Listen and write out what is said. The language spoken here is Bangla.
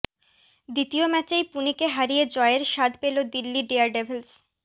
দ্বিতীয় ম্যাচেই পুণেকে হারিয়ে জয়ের স্বাদ পেল দিল্লি ডেয়ারডেভিলস